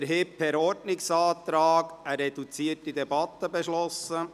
Wir haben per Ordnungsantrag eine reduzierte Debatte beschlossen.